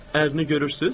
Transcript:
Ərini görürsüz?